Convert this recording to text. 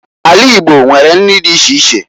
Ala Igbo nwere nri di iche iche.